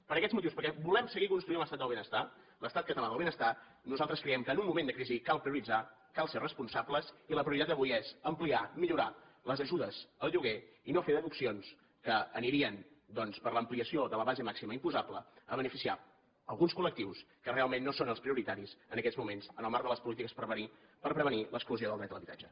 per aquests motius perquè volem seguir construint l’estat del benestar l’estat català del benestar nosaltres crei em que en un moment de crisi cal prioritzar cal ser responsables i la prioritat d’avui és ampliar millorar les ajudes al lloguer i no fer deduccions que anirien doncs per l’ampliació de la base màxima imposable a beneficiar alguns col·lectius que realment no són els prioritaris en aquests moments en el marc de les polítiques per prevenir l’exclusió del dret a l’habitatge